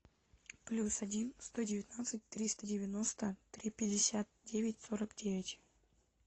плюс один сто девятнадцать триста девяносто три пятьдесят девять сорок девять